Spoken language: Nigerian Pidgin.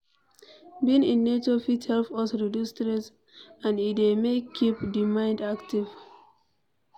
Being in nature fit help us reduce stress and e dey keep di mind active